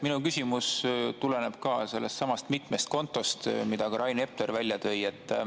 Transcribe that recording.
Minu küsimus tuleneb ka nendest mitmest kontost, mida Rain Epler välja tõi.